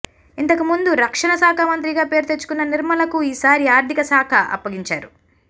ఇంతకుముందు రక్షణశాఖ మంత్రిగా పేరు తెచ్చుకున్న నిర్మలకు ఈసారి ఆర్థిక శాఖ అప్పగించారు